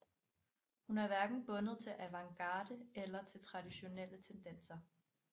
Hun er hverken bundet til avantgarde eller til traditionelle tendenser